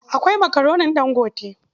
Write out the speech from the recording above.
Akwai Makaronin Ɗangote.